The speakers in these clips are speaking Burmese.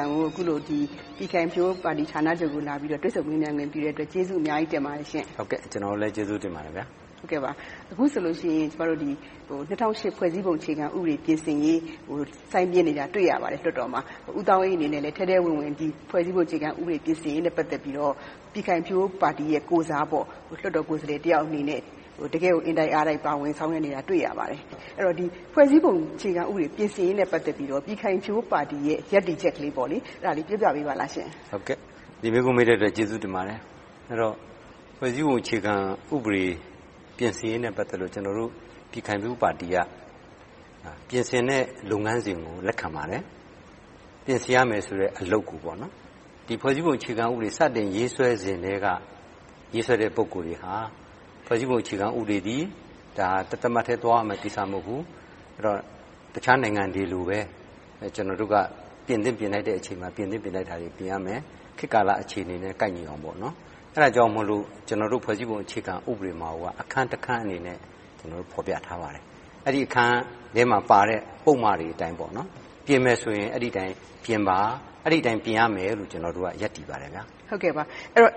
န်အသံကို အခုလို ပြည်ခိုင်ဖြိုးပါတီဌာနချုပ်ကို လာပြီးတော့ တွေ့ဆုံမေးမြန်းခွင့် ပြုတဲ့အတွက် ကျေးဇူးအများကြီးတင်ပါတယ်ရှင့်။ မင်္ဂလာပါ။ ကျနော်တို့လည်း ကျေးဇူးတင်ပါတယ်။ အခုဆိုရင် ၂၀၀၈ ဖွဲ့စည်းပုံအခြေခံဥပဒေ ပြင်ဆင်ရေးကို ဆိုင်းပြင်းနေတာကို လွှတ်တော်မှာ တွေ့ရပါတယ်။ ဦးသောင်းအေးအနေနဲ့လည်း ဒီဖွဲ့စည်းပုံအခြေခံဥပဒေ ပြင်ဆင်ရေးနဲ့ ပတ်သက်ပြီး ထဲထဲဝင်ဝင် ပြည်ခိုင်ဖြိုးပါတီကိုယ်စား၊ လွှတ်တော်ကိုယ်စားလှယ်တယောက်အနေနဲ့ တကယ့်ကို အင်တိုက်အားတိုက် ပါဝင်ဆောင်ရွက်နေတာကို တွေ့ရပါတယ်။ အဲဒီတော့ ဖွဲ့စည်းပုံအခြေခံဥပဒေ ပြင်ဆင်ရေးနဲ့ ပတ်သက်ပြီးတော့ ပြည်ခိုင်ဖြိုးပါတီရဲ့ ရပ်တည်ချက်လေးကို ပြောပြပေးပါလားရှင့်။ ဒီမေးခွန်း မေးတဲ့အတွက် ကျေးဇူးတင်ပါတယ်။ ဖွဲ့စည်းပုံအခြေခံဥပဒေ ပြင်ဆင်ရေးနဲ့ ပတ်သက်လို့ ကျနော်တို့ ပြည်ခိုင်ဖြိုးပါတီက ပြင်ဆင်တဲ့ လုပ်ငန်းစဉ်ကို လက်ခံပါတယ်။ ပြင်ဆင်ရမယ်ဆိုတဲ့ အလုပ်ကို ဒီ ဖွဲ့စည်းပုံအခြေခံဥပဒေ စတင်ရေးဆွဲတဲ့ ပုဂ္ဂိုလ်တွေဟာ ဖွဲ့စည်းပုံအခြေခံဥပဒေသည် တသမတ်တည်း သွားရမယ့်ကိစ္စ မဟုတ်ဘူး။ တခြားနိုင်ငံတွေလိုပါပဲ ကျနော်တို့ ပြင်သင့်ပြင်ထိုက်တဲ့ အချိန်မှာ ပြင်သင့်ပြင်ထိုက်တာတွေကို ပြင်ရမယ်။ ခေတ်ကာလအခြေအနေနဲ့ ကိုက်ညီအောင်လို။ အဲဒါကြောင့်မို ကျနော်တို့ ဖွဲ့စည်းပုံအခြေခံမှာ ဖော်ပြထားပါတယ်။ အဲဒီအခန်းထဲမှာပါတဲ့ ပုဒ်မတွေအတိုင်းပေါ့ ပြင်မယ်ဆိုရင် အဲဒီအတိုင်းပြင်ပါ။ အဲဒီအတိုင်း ပြင်ရမယ်လို့ ကျနော်တို့က ရပ်တည်ပါတယ်။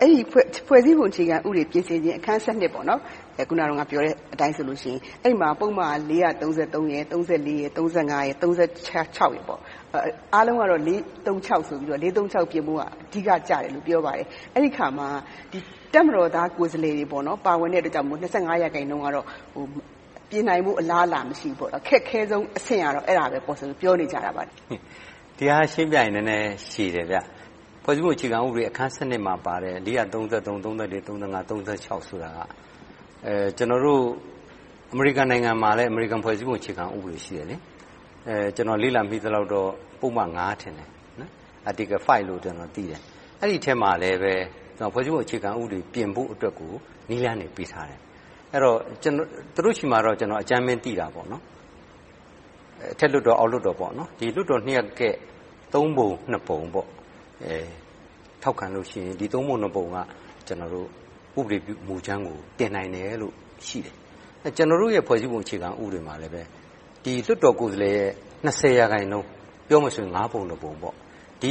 အဲဒီ ဖွဲ့စည်းပုံ ပြင်ဆင်ခြင်း အခန်း - အခုနပြောတဲ့အတိုင်းဆိုရင် အဲဒီမှာ ပုဒ်မ - အားလုံးကတော့ ပြင်ဖို့က အဓိကကျတယ်လို့ ပြောပါတယ်။ အဲဒီအခါမှာ တပ်မတော်သား ကိုယ်စားလှယ်တွေ ပါဝင်တဲ့အတွက်ကြောင့် ရာခိုင်နှုန်းကတော့ ပြင်နိုင်ဖို့ အလားအလာ မရှိဘူး။ အခက်ခဲဆုံးအဆင့်ကတော့ အဲဒါပဲလို့ ပြောနေကြတယ်။ ဒီဟာက ရှင်းပြရမယ်ဆိုရင် နည်းနည်းရှည်တယ်။ ဖွဲ့စည်းပုံအခြေခံဥပဒေ အခန်း မှာပါတဲ့ ဆိုတာက အမေရိကန်နိုင်ငံမှာလည်း အမေရိကန် ဖွဲ့စည်းပုံ ဆိုတာရှိတယ်။ ကျနော် လေ့လာမိသလောက်တော့ ပုဒ်မ ထင်တယ်။ အဲဒီအထဲမှာလည်း ဖွဲ့စည်းပုံအခြေခံဥပဒေကို ပြင်ဖို့ နည်းလမ်းတွေပေးထားတယ်။ သူတို့ဆီမှာတော့ ကျနော် အကြမ်းမျဉ်းသိတာပေါ့။ အထက်လွှတ်တော် - အောက်လွှတ်တော် ဒီလွှတ်တော်နှစ်ရပ်ရဲ့ သုံးပုံနှစ်ပုံ ထောက်ခံလို့ရှိရင် ဒီသုံးပုံနှစ်ပုံက ဥပဒေပြုမူကြမ်းကို တင်နိုင်တယ်လို့ရှိတယ်။ ကျနော်တို့ရဲ့ ဖွဲ့စည်းပုံဥပဒေမှာလည်း လွှတ်တော်ကိုယ်စားလှယ် ရာခိုင်နှုန်း ပြောမယ်ဆိုရင် ငါးပုံတစ်ပုံ က လ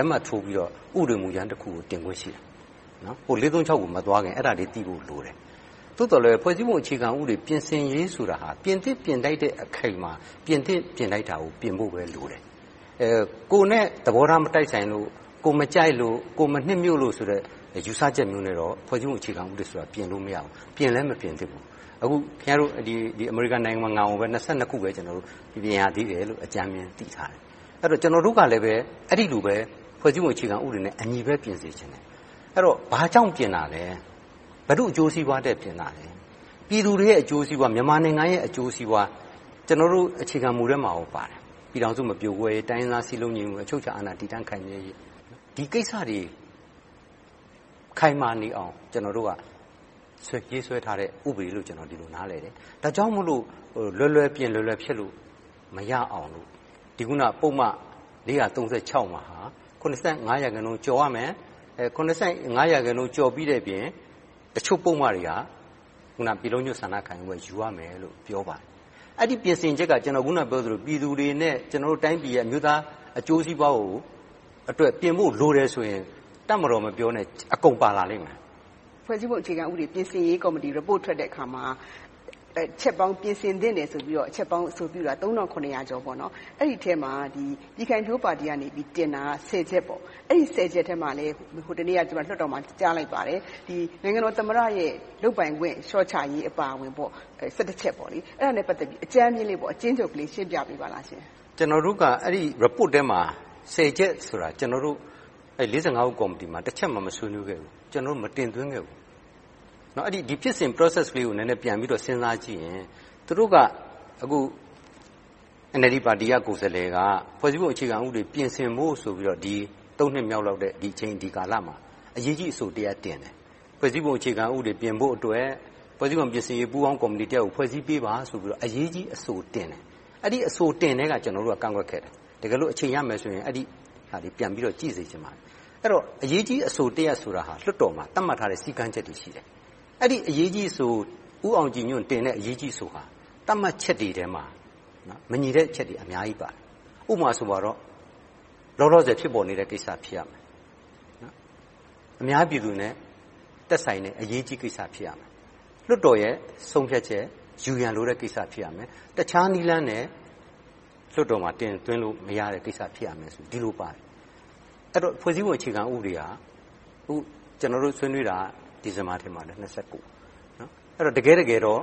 က်မှတ်ထိုးပြီးတော့ ဥပဒေမူကြမ်းတစ်ခုကို တင်ခွင့်ရှိတယ်။ ကို မသွားခင် အဲဒါလေးသိဖို့ လိုတယ်။ သို့သော်လဲ ဖွဲ့စည်းပုံအခြေခံဥပဒေ ပြင်ဆင်ရေးဆိုတာ ပြင်သင့်ပြင်ထိုက်တဲ့အချိန်မှာ ပြင်သင့်ပြင်ထိုက်တာကိုပဲ ပြင်ဖို့ပဲလိုတယ်။ ကိုယ်နဲ့သဘောထား မတိုက်ဆိုင်လို့၊ ကိုယ်မကြိုက်လို့၊ ကိုယ်မနှစ်မြို့လို့ ယူဆချက်မျိုးနဲ့တော့ ဖွဲ့စည်း့ပုံကို ပြင်လို့မရဘူး။ ပြင်လည်းမပြင်သင့်ဘူး။ ခင်များတို့ အမေရိကန်နိုင်ငံကိုပဲ ခုပဲ ပြင်ရသေးတယ်လို့ အကြမ်းမျဉ်း သိထားတယ်။ ဆိုတော့ ကျနော်တို့ကလည်း အဲဒီလိုပဲ ဖွဲ့စည်းပုံအခြေခံဥပဒေနဲ့အညီပဲ ပြင်စေချင်တယ်။ ဘာကြောင့်ပြင်တာလဲ။ ဘယ်သူ့အကျိုးစီးပွားအတွက် ပြင်တာလဲ။ ပြည်သူတွေရဲ့ အကျိုးစီးပွား၊ မြန်မာနိုင်ငံရဲ့ အကျိုးစီးပွား၊ ကျနော်တို့ အခြေခံမူထဲမှာကိုပါတယ်။ ပြည်ထောင်စု မပြိုကွဲရေး၊ တိုင်းရင်းသား စည်းလုံးညီညွှတ်ရေး၊ အချုပ်အခြာအာဏာ တည်တန့်ခိုင်မြဲရေး၊ ဒီကိစ္စတွေ ခိုင်မာနေအောင် ကျနော်တို့က ရေးဆွဲထားတဲ့ ဥပဒေလို့ နားလည်တယ်။ ဒါကြောင့်မို့လို့ လွယ်လွယ်ပြင်၊ လွယ်လွယ်ဖျက်လို့ မရအောင် ပုဒ်မ မှာ ရာခိုင်နှုန်းကျော်ရမယ်။ ရာခိုင်နှုန်း ကျော်ပြီးတဲ့အပြင် တချို့ပုဒ်မတွေဟာ ပြည်လုံးကျွတ်ဆန္ဒခံယူပွဲ ယူရမယ်လို့ ပြောပါတယ်။ အဲဒီပြင်ဆင်ချက်က ကျနော် အခုနပြောသလို ပြည်သူတွေနဲ့ ကျနော်တို့တိုင်းပြည်ရဲ့ အမျိုးသားအကျိုးစီးပွားအတွက်ကို ပြင်ဖို့လိုတယ်ဆိုရင် တပ်မတော်မပြောနဲ့ အကုန်ပါလာလိမ့်မယ်။ ဖွဲ့စည်းပုံအခြေခံဥပဒေ ပြင်ဆင်ရေးကော်မတီ အစီရင်ခံစာ ထွက်တဲ့အတခါမှာ ပြင်ဆင်သင့်တယ်ဆိုပြီး အချက်ပေါင်း အဆိုပြုတာ ကျော် ရှိတယ်။ အဲဒီအထဲမှာ ပြည်ခိုင်ဖြိုးပါတီက တင်သွင်းတာ ချက် ပါရှိတယ်။ အဲဒီ ချက်ထဲမှာ ဟိုတနေ့က ကျမ လွှတ်တော်မှာ ကြားလိုက်ပါတယ် - နိုင်ငံတော်သမ္မတရဲ့ လုပ်ပိုင်ခွင့် လျှော့ချရေးအပါအဝင်၊ ချက် - အဲဒါနဲ့ ပတ်သက်ပြီး အကြမ်းမျဉ်း၊ အကျဉ်းချုပ်လေး ရှင်းပြပေးပါရှင့်။ ကျနော်တို့က အဲဒီအစီရင်ခံစာထဲမှာ ချက် ဆိုတာ ကျနော်တို့ ဦး ကော်မတီမှာ တစ်ချက်မှ မဆွေးနွေးခဲ့ဘူး။ ကျနော်တို့ မတင်သွင်းခဲ့ဘူး။ ဒီဖြစ်စဉ် Process လေးကို နည်းနည်းစဉ်းစားကြည့်ရင် သူတို့က အန်အယ်လ်ဒီပါတီရဲ့ ကိုယ်စားလှယ်က ဖွဲ့စည်းပုံအခြေခံဥပဒေ ပြင်ဆင်ဖို့ဆိုပြီး နှစ်မြောက်တဲ့ ဒီအချိန်ဒီကာလမှာ အရေးကြီးအဆိုတစ်ရပ် တင်သွင်းတယ်။ ဖွဲ့စည်းပုံအခြေခံဥပဒေ ပြင်ဆင်ဖို့အတွက် ဖွဲ့စည်းပုံပြင်ဆင်ရေး ပူးပေါင်းကော်မတီတစ်ရပ်ကို ဖွဲ့စည်းပေးပါဆိုပြီး အရေးကြီးအဆိုတင်တယ်။ အဲဒီအဆိုတင်ကတည်းက ကျနော်တို့က ကန့်ကွက်ခဲ့တယ်။ တကယ်လို့ အချိန်ရတယ်ဆိုရင် အဲဒါတွေကို ကြည့်စေချင်ပါတယ်။ အရေးကြီးအဆိုတစ်ရပ်ဆိုတာ လွှတ်တော်မှာ သတ်မှတ်ထားတဲ့ စည်းကမ်းချက်တွေ ရှိတယ်။ ဦးအောင်ကြည်ညွှန့်တင်တဲ့ အဲဒီအရေးကြီးအဆိုဟာ သတ်မှတ်ချက်တွေထဲမှာ မညီတဲ့အချက်တွေက အများကြီးပါတယ်။ ဥပမာဆိုပါတော့ လောလောဆယ် ဖြစ်ပေါ်နေတဲ့ကိစ္စ ဖြစ်ရမယ်။ အများပြည်သူနဲ့ သက်ဆိုင်တဲ့ အရေးကြီးကိစ္စ ဖြစ်ရမယ်။ လွှတ်တော်ရဲ့ ဆုံးဖြတ်ချက် ယူရန်လိုတဲ့ကိစ္စ ဖြစ်ရမယ်။ တခြားနည်းလမ်းနဲ့ လွှတ်တော်မှာ တင်သွင်းလို့မရတဲ့ ကိစ္စ ဖြစ်ရမယ်ဆိုပြီးပါတယ်။ အဲဒီတော့ ဖွဲ့စည်းပုံအခြေခံဥပဒေဟာ ကျနော်တို့ ဆွေးနွေးတာ ဒီဇင်ဘာ ထင်ပါတယ်။ တကယ့်တကယ်တော့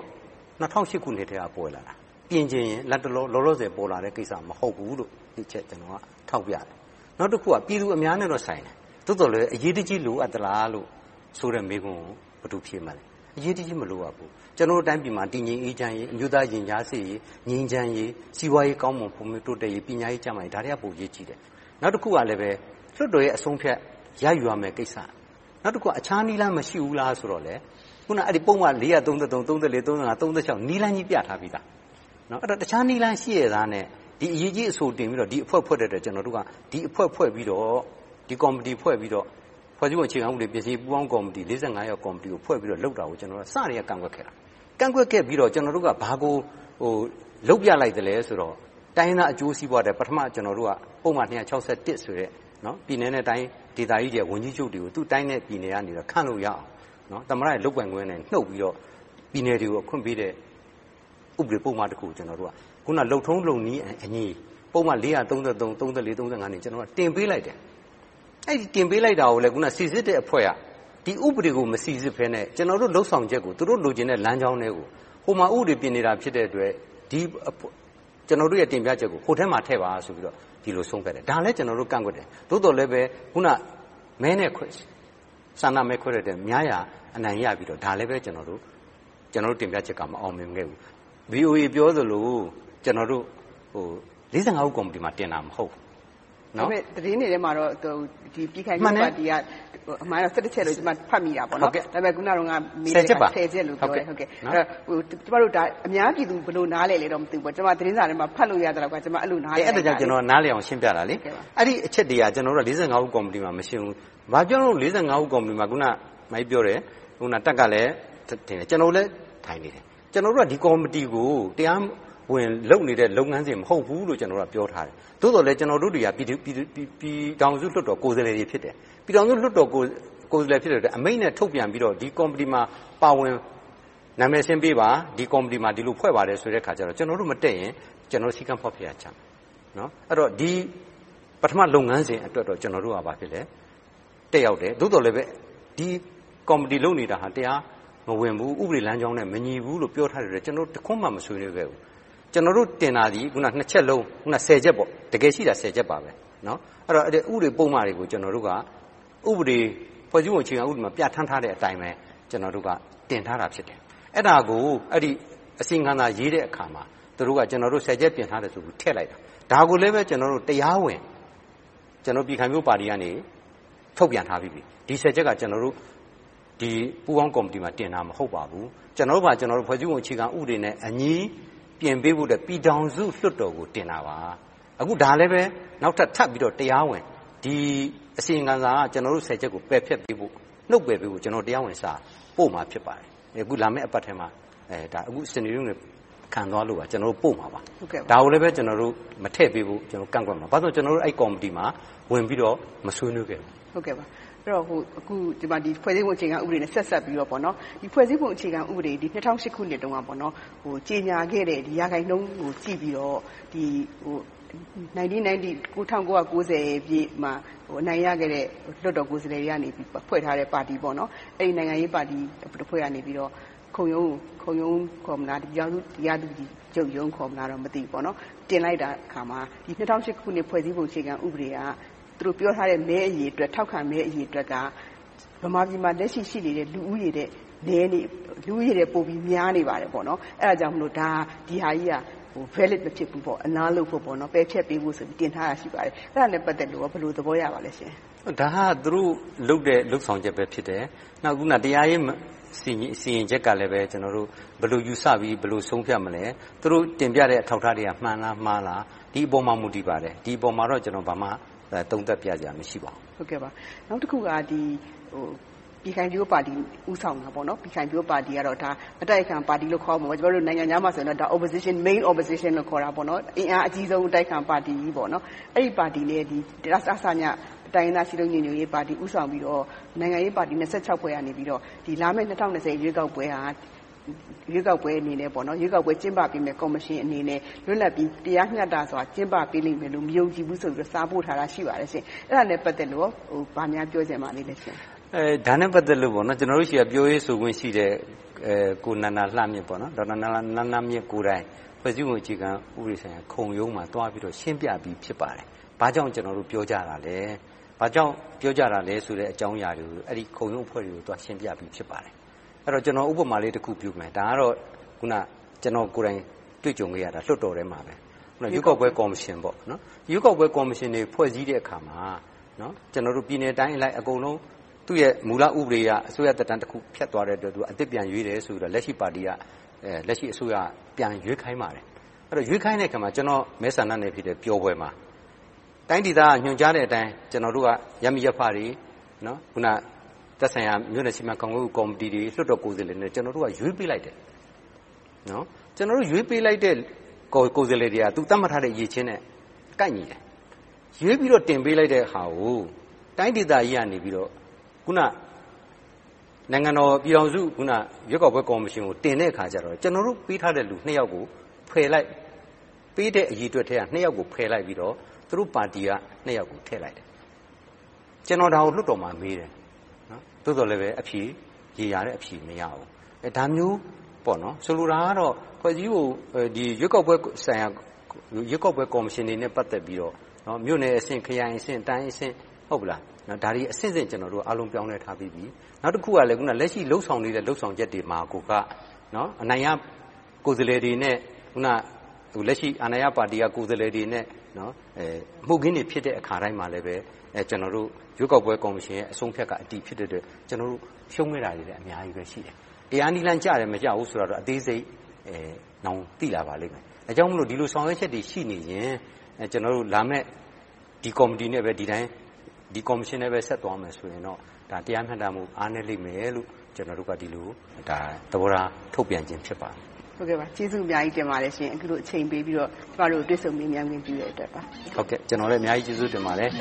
၂၀၀၈ ကတည်းက ပေါ်လာတာ၊ ပြင်ချင်ရင် လောလောဆယ် ပေါ်လာတဲ့ကိစ္စ မဟုတ်ဘူးလို့ ကျနော်က ထောက်ပြတယ်။ နောက်တစ်ခုက ပြည်သူအများနဲ့ဆိုင်တယ်။ သို့သော်လဲ အရေးတကြီး လိုအပ်သလားဆိုတဲ့ မေးခွန်းကို ဘယ်သူဖြေမလဲ။ အရေးတကြီး မလိုအပ်ဘူး။ ကျနော်တို့ တိုင်းပြည်မှာ တည်ငြိမ်အေးချမ်းရေး၊ အမျိုးသားရင်ကြားစေ့ရေး၊ ငြိမ်းချမ်းရေး၊ စီးပွားရေးကောင်းမွန်ဖွံ့ဖြိုးတိုးတက်ရေး၊ ပညာရေး၊ ကျန်းမာရေး ဒါတွေက ပိုအရေးကြီးတယ်။ နောက်တစ်ခုကလဲ လွှတ်တော်ရဲ့ အဆုံးအဖြတ် ရယူရမယ့်ကိစ္စ။ နောက်တစ်ခု အခြားနည်းလမ်းမရှိဘူးလားဆိုတော့ အခုနပုဒ်မ နည်းလမ်းကြီး ပြထားပြီသား။ အဲဒီတော့ တခြားနည်းလမ်းရှိရဲ့သားနဲ့ ဒီအရေးကြီးအဆို တင်သွင်းပြီးတော့ ဒီအဖွဲ့ဖွဲ့တဲ့အတွက် ကျနော်တို့က ဒီအဖွဲ့ဖွဲ့ပြီးတော့ ကော်မတီဖွဲ့ပြီးတော့ ဖွဲ့စည်းပုံပြင်ဆင်ရေး ပူးပေါင်းကော်မတီ ယောက် ကော်မတီကို ဖွဲ့ပြီးတော့ လုပ်တာကို ကျနော်တို့က အစကတည်းက ကန့်ကွက်ခဲ့တာ။ ကန့်ကွက်ခဲ့ပြီးတာ့ ကျနော်တို့က ဘာကို လုပ်ပြလိုက်သလဲဆိုတော့ တိုင်းရင်းသားအကျိုးစီးပွားအတွက် ကျနော်တို့က ပုဒ်မ ဆိုတဲ့ ပြည်နယ်နဲ့တိုင်းဒေသကြီးတွေက ဝန်ကြီးချုပ်တွေကို သူ့တိုင်းနဲ့ပြည်နယ်တွေက ခန့်လို့ရအောင် သမ္မတရဲ့ လုပ်ပိုင်ခွင့်ကနေ နုတ်ပြီးတော့ ပြည်နယ်တွေကို ခွင့်ပေးတဲ့ ဥပဒေပုဒ်မတစ်ခုကို ကျနော်တို့က အခုန လုပ်ထုံးလးုပ်နည်းအညီ ပုဒ်မ ကနေ တင်ပေးလိုက်တယ်။ အဲဒီတင်ပေးလိုက်တာကို အခုန စီစစ်တဲ့အဖွဲ့က ဒီဥပဒေကို မစီစစ်ဘဲနဲ့ ကျနော်တို့ လုပ်ဆောင်ချက်ကို သူတို့လိုချင်တဲ့ လမ်းကြောင်းထဲကို ဟိုမှာဥပဒေပြင်နေတာ ဖြစ်နေတဲ့အတွက် ကျနော်တို့ရဲ့ တင်ပြချက်ကို ဟိုထဲမှာ ထည့်ပါဆိုပြီးတော့ ဒီလိုဆုံးဖြတ်တယ်။ ဒါကိုလဲ ကျနော်တို့ ကန့်ကွက်တယ်။ သို့သော်လဲပဲ အခုန ဆန္ဒမဲခွဲတဲ့အတွက် များရာ အနိုင်ရပြီးတော့ ဒါလဲပဲ ကျနော်တို့ တင်ပြချက်က မအောင်မြင်ခဲ့ဘူး။ VOA ပြောသလို ကျနော်တို့ ဦး ကော်မတီမှာ တင်တာမဟုတ်ဘူး။ သတင်းတွေထဲမှာတော့ ပြည်ခိုင်ဖြိုးပါတီက အမှန်တော့ ချက်လို့ ကျမ ဖတ်မိတာ။ ဒါပေမဲ့ အခုနပြောတော့ ချက်လို့ ပြောခဲ့တယ်။ အများပြည်သူ ဘယ်လိုနားလည်သလဲတော့ မသိဘူး၊ ကျမ သတင်းစာထဲမှာ ဖတ်လို့ရသလောက်တော့ ကျမက အဲဒီလို နားလည်တယ်။ အဲဒါကြောင့် နားလည်အောင် ရှင်းပြတာပါ။ အဲဒီအချက်တွေက ဦး ကော်မတီမှာ မရှင်းဘူး။ ဘာကြောင့် ဦး ကော်မတီမှာ အမကြီးပြောတဲ့ တပ်က ထပ်ထည့်တယ်။ ကျနော်တို့လည်း ထိုင်နေတယ်။ ကျနော်တို့က ဒီကော်မတီကို တရားဝင် လုပ်နေတဲ့ လုပ်ငန်းစဉ် မဟုတ်ဘူးလို့ ပြောထားတယ်။ သို့သော်လဲ ကျနော်တို့တွေက ပြည်ထောင်စုလွှတ်တော် ကိုယ်စားလှယ်တွေ ဖြစ်တယ်။ ပြည်ထောင်စုလွှတ်တော် ကိုယ်စားလှယ် ဖြစ်တဲ့အတွက် အမိန့်နဲ့ထုတ်ပြန်ပြီးတော့ ဒီကော်မတီမှာ နာမည်စာရင်းပေးပါ။ ဒီကော်မတီကို ဒီလိုဖွဲ့ပါတယ်ဆိုတော့ ကျနော်တို့ မတက်ရင်၊ ကျနော်တို့ စည်းကမ်းဖောက်ဖျက်ရာ ရောက်တယ်။ ဒီ ပထမလုပ်ငန်းစဉ်အတွက်တော့ ကျနော်တို့က တက်ရောက်တယ်။ သို့သော်လဲပဲ ဒီကော်မတီလုပ်နေတာဟာ တရားမဝင်ဘူး။ ဥပဒေလမ်းကြောင်းနဲ့ မညီညွှတ်ဘူးလို့ ပြောထားတဲ့အတွက် ကျနော်တို့ တစ်ခုမှ မဆွေးနွေးခဲ့ဘူး။ ကျနော်တို့တင်တာသည် အခုန နှစ်ချက်လုံး - တကယ်ရှိတာ ချက်ပါ။ အဲဒီဥပဒေပုဒ်မတွေကို ကျနော်တို့က ဖွဲ့စည်းပုံအခြေခံဥပဒေမှာ ပြဌာန်းထားတဲ့အတိုင်းပဲ ကျနော်တို့က တင်ထားတာဖြစ်တယ်။ အဲဒါကို အဲဒီ အစီရင်ခံစာ ရေးတဲ့အခါမှာ သူတို့က ကျနော်တို့ ချက် ပြင်ထားတယ်ဆိုပြီး ထည့်လိုက်တာ။ ဒါကိုလဲ ကျနော်တို့ တရားဝင် ပြည်ခိုင်ဖြိုးပါတီကနေ ထုတ်ပြန်ထားပြီးပြီ။ ဒီ ချက်က ကျနော်တို့ ပူးပေါင်းကော်မတီမှာ တင်တာမဟုတ်ပါဘူး။ ကျနော်တို့ဘာသာ ကျနော်တို့ ဖွဲ့စည်းပုံအခြေခံဥပဒေနဲ့အညီ ပြင်ပေးဖို့အတွက် ပြည်ထောင်စုလွှတ်တော်ကို တင်သွင်းခဲ့တာပါ။ အခုဒါလဲပဲ နောက်ထပ်တရားဝင် ဒီ အစီရင်ခံစာက ကျနော်တို့ ချက်ကို ပယ်ဖျက်ပေးဖို့၊ နုတ်ပယ်ပေးဖို့ ကျနော်တို့ တရားဝင်စာ ပို့မှာဖြစ်ပါတယ်။ အခုလာမယ့် အပတ်ထဲမှာ၊ အခု စနေ၊ တနင်္ဂနွေ ခံသွားလိုပါ။ ကျနော်တို့ ပို့မှာပါ။ ဒါကိုလဲ မထည့်ပေးဖို့ ကန့်ကွက်သွားမှာပါ။ ဘာဖြစ်လို့လဲဆိုတော့ အဲဒီကော်မတီမှာ ဝင်ပြီးတော့ မဆွေးနွေးခဲ့ဘူး။ ဒီမှာ ဖွဲ့စည်းပုံအခြေခံဥပဒေနဲ့ ဆက်စပ်ပြီးတော့ - ဒီဖွဲ့စည်းပုံအခြေခံဥပဒေ ၂၀၀၈ ခုနှစ်တုန်းက ကြေညာခဲ့တဲ့ ရာခိုင်နှုန်းကို ကြည့်ပြီးတော့ ၁၉၉၀ ပြည့်မှာ အနိုင်ရခဲ့တဲ့ လွှတ်တော်ကိုယ်စားလှယ်တွေက ဖွဲ့စည်းထားတဲ့ ပါတီက ခုံရုံး ခေါ်မလား ပြည်ထောင်စုတရားသူကြီးချုပ်ရုံး ခေါ်မလား မသိဘူး၊ တင်လိုက်တဲ့အခါမှာ ၂၀၀၈ ဖွဲ့စည်းပုံအခြေခံဥပဒေက သူတို့ပြောထားတဲ့ မဲအရေအတွက်၊ ထောက်ခံမဲအရေအတွက်က ဗမာပြည်မှာ လက်ရှိရှိနေတဲ့ လူဦးရေထက် ပိုပြီးများနေပါတယ်။ အဲဒါကြောင့်မို့ ဒီဟာကြီးက Valid မဖြစ်ဘူး။ ပယ်ဖျက်ပေးဖို့ တင်သွင်းထားတာ ရှိပါတယ်။ အဲဒါနဲ့ ပတ်သက်လို့ကော ဘယ်လိုသဘောရပါလဲရှင့်။ ဒါက သူတို့လုပ်တဲ့ လုပ်ဆောင်ချက်ပဲ ဖြစ်တယ်။ နောက် အခုန တရားရေးစီရင်ချက်ကလဲ ဘယ်လိုယူဆပြီး ဘယ်လိုဆုံးဖြတ်မလဲ။ သူတို့တင်ပြတဲ့ အထောက်အထားတွေက မှန်လား၊ မှားလား။ ဒီအပေါ်မှာ မူတည်ပါတယ်။ ဒီအပေါ်မှာတော့ ကျနော် ဘာမှသုံးသပ်ပြစရာ မရှိပါဘူး။ နောက်တခုက ပြည်ခိုင်ဖြိုးပါတီကတော့ အတိုက်အခံပါတီလို့ ခေါ်ရမှာပေါ့။ နိုင်ငံခြားမှာတော့ Main Opposition လို့ ခေါ်ပါတယ်။ အင်အားအကြီးဆုံး အတိုက်အခံပါတီကြီး။ အဲဒီပါတီနဲ့ တစည တိုင်းရင်းသားစည်းလုံးညီညွှတ်ရေးပါတီတို့ ဦးဆောင်ပြီးတော့ နိုင်ငံရေးပါတီ ဖွဲ့ကနေ လာမယ့် ၂၀၂၀ ရွေးကောက်ပွဲဟာ ရွေးကောက်ပွဲကျင်းပပေးမယ့် ကော်မရှင်အနေနဲ့ လွတ်လပ်ပြီး တရားမျှတစွာ ကျင်းပပေးလိမ့်မယ်လို့ မယုံကြည်ဘူးဆိုပြီးတော့ စာပို့ထားတာ ရှိပါတယ်။ အဲဒါနဲ့ ပတ်သက်လို့ကော ဘာများပြောချင်ပါလဲရှင့်။ ဒါနဲ့ ပတ်သက်လို့ ကျနော်တို့ဆီက ပြောရေးဆိုခွင့်ရှိတဲ့ ကိုနန္ဒာလှမြင့်ကိုယ်တိုင် ဖွဲ့စည်းပုံအခြေခံဥပဒေဆိုင်ရာ ခုံရုံးမှာ သွားပြီးတော့ ရှင်းပြပြီး ဖြစ်ပါတယ်။ ဘာကြောင့် ကျနော်တို့ ပြောကြတာလဲဆိုတဲ့ အကြောင်းအရာတွေကို အဲဒီခုံရုံးအဖွဲ့တွေကို သွားရှင်းပြပြီး ဖြစ်ပါတယ်။ ကျနော် ဥပမာလေးတစ်ခု ပြုမယ်။ ဒါကတော့ အခုန ကျနော်တို့ကိုယ်တိုင် တွေ့ကြုံခဲ့ရတာ လွှတ်တော်ထဲမှာ၊ ရွေးကောက်ပွဲကော်မရှင်တွေ ဖွဲ့စည်းတဲ့အခါမှာ ပြည်နယ်တိုင်းအလိုက် အကုန်လုံး သူ့ရဲ့ မူလဥပဒေအရ အစိုးရသက်တမ်းတခု ဖြတ်သွားတဲ့အတွက် အသစ်ပြန်ရွေးတယ်ဆိုပြီးတော့ လက်ရှိအစိုးရက ပြန်ရွေးခိုင်းပါတယ်။ ရွေးခိုင်းတဲ့အခါမှာ ကျနော့် မဲဆန္ဒနယ်မြေ ပျော်ဘွယ်မှာ တိုင်းဒေသက ညွှန်ကြားတဲ့အတိုင်း ကျနော်တို့က ရပ်မိရပ်ဖတွေ၊ သက်ဆိုင်ရာ မြို့နယ်စီမံခန့်ခွဲမှုကော်မတီတွေ၊ လွှတ်တော်ကိုယ်စားလှယ်တွေကို ကျနော်က ရွေးပေးလိုက်တယ်။ ကျနော်တို့ ရွေးပေးလိုက်တဲ့ ကိုယ်စားလှယ်တွေဟာ သတ်မှတ်ထားတဲ့ အရည်အချင်းနဲ့ ကိုက်ညီတယ်။ ရွေးပြီးတော့ တင်ပေးလိုက်တဲ့ဟာကို တိုင်းဒေသကြီးကနေ အခုန နိုင်ငံတော်၊ ပြည်ထောင်စု၊ ရွေးကောက်ပွဲကော်မရှင်ကို တင်တဲ့အခါကြတော့ ကျနော်တို့ ပေးထားတဲ့လူ နှစ်ယောက်ကို ဖယ်လိုက်၊ ပေးတဲ့အရေအတွက်ထဲက နှစ်ယောက်ကို ဖယ်လိုက်ပြီးတော့ သူတို့ပါတီက နှစ်ယောက်ကို ထည့်လိုက်တယ်။ ကျနော် ဒါကို လွှတ်တော်မှာမေးတယ်။ သို့သော်လဲ ရေရာတဲ့အဖြေ မရဘူး။ ဒါမျိုးပေါ့။ ဆိုလိုတာကတော့ ရွေးကောက်ပွဲကော်မရှင်နဲ့ ပတ်သက်ပြီးတော့ မြို့နယ်အဆင့်၊ ခရိုင်အဆင့်၊ တိုင်းအဆင့်၊ ဒါတွေအဆင့်ဆင့် ကျနော်တို့က အားလုံးပြောင်းလဲထားပြီးပြီ။ နောက်တခုက လက်ရှိလုပ်ဆောင်နေတဲ့ လုပ်ဆောင်ချက်တွေမှာ အနိုင်ရကိုယ်စားလှယ်တွေနဲ့ လက်ရှိအာဏာရပါတီက ကိုယ်စားလှယ်တွေနဲ့ အမှုအခင်းတွေ ဖြစ်တဲ့အခါတိုင်းမှာလဲ ရွေးကောက်ပွဲကော်မရှင်ရဲ့ အဆုံးအဖြတ်က အတည်ဖြစ်တဲ့အတွက် ကျနော်တို့ ရှုံးခဲ့တာတွေလည်း အများကြီးရှိတယ်။ တရားနည်းလမ်းကျတယ်၊ မကျဘူးဆိုတာတော့ အသေးစိတ် နောင်သိလာပါလိမ့်မယ်။ ဒါကြောင့်မို့ ဒီလိုဆောင်ရွက်ချက်တွေ ရှိနေရင်၊ ကျနော်တို့လာမယ့် ဒီကော်မတီနဲ့ပဲ ဒီအတိုင်း၊ ဒီကော်မရှင်နဲ့ပဲ ဆက်သွားမယ်ဆိုရင်တော့ တရားမျှတမှု အားနည်းလိမ့်မယ်လို့ ဒီလိုသဘောထား ထုတ်ပြန်ခြင်း ဖြစ်ပါတယ်။ ကျေးဇူးအများကြီးတင်ပါတယ်ရှင့်။ အခုလို အချိန်ပေးပြီးတော့ တွေ့ဆုံမေးမြန်းခွင့်ပြုတဲ့အတွက်။ ကျနော်လည်း ကျေးဇူးတင်ပါတယ်